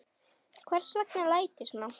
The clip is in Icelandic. Hvers vegna læt ég svona?